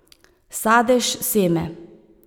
Sadež, seme.